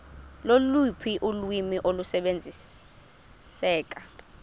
loluphi ulwimi olusebenziseka